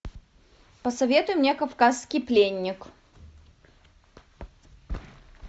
посоветуй мне кавказский пленник